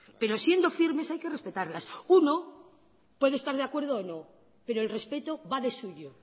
pero siendo firmes hay que respetarlas uno puede estar de acuerdo o no pero el respeto va de suyo